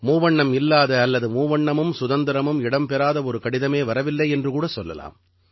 மூவண்ணம் இல்லாத அல்லது மூவண்ணமும் சுதந்திரமும் இடம்பெறாத ஒரு கடிதமே வரவில்லை என்று கூட சொல்லலாம்